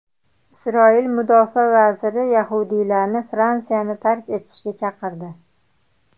Isroil mudofaa vaziri yahudiylarni Fransiyani tark etishga chaqirdi.